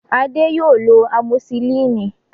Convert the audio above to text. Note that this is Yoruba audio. Adé yóò lọ amosilínì